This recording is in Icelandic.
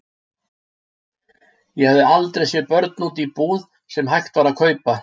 Ég hafði aldrei séð börn úti í búð sem hægt var að kaupa.